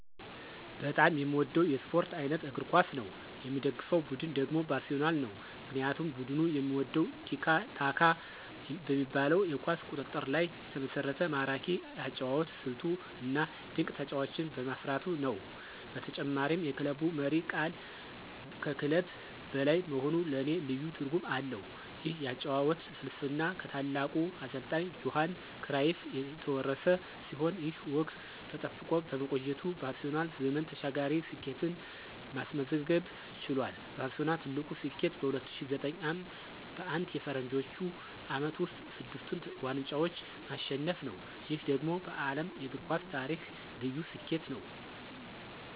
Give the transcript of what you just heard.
በጣም የምወደው የስፖርት አይነት እግር ኳስ ነው። የምደግፈው ቡድን ደግሞ ባርሴሎና ነው። ምክንያቱም ቡድኑን የምወደው "ቲኪ-ታካ" በሚባለው የኳስ ቁጥጥር ላይ የተመሰረተ ማራኪ የአጨዋወት ስልቱ፣ እና ድንቅ ተጫዋቾችን በማፍራቱ ነው። በተጨማሪም የክለቡ መሪ ቃል ከክለብ በላይ መሆኑ ለኔ ልዩ ትርጉም አለው። ይህ የአጨዋወት ፍልስፍና ከታላቁ አሰልጣኝ ጆሃን ክራይፍ የተወረሰ ሲሆን፣ ይህ ወግ ተጠብቆ በመቆየቱ ባርሴሎና ዘመን ተሻጋሪ ስኬትን ማስመዝገብ ችሏል። ባርሴሎና ትልቁ ስኬቱ በ2009 ዓ.ም. በአንድ የፈረንጆቹ ዓመት ውስጥ ስድስቱን ዋንጫዎች ማሸነፉ ነው። ይህ ደግሞ በዓለም የእግር ኳስ ታሪክ ልዩ ስኬት ነው።